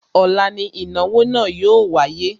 Ọ̀la ni ìnáwó náà yóò wáyé